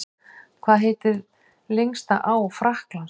Hvað heitir lengsta á Frakklands?